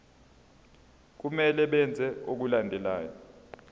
kumele benze okulandelayo